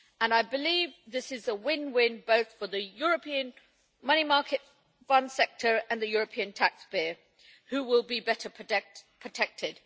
I believe this is a win win, both for the European money market fund sector and for the European taxpayer, who will be better protected.